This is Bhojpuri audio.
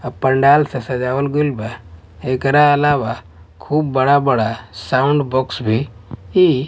अ पंडाल से सजवाल गइल बा एकरा अलावा खूब बड़ा-बड़ा साउंड बॉक्स भी --